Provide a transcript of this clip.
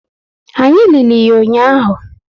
Anyị lili ya ụnyaahụ